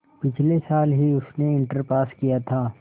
पिछले साल ही उसने इंटर पास किया था